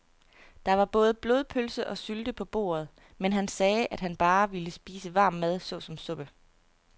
Der var både blodpølse og sylte på bordet, men han sagde, at han bare ville spise varm mad såsom suppe.